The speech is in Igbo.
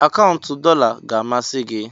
akaụntụ dollar ga-amasị gị?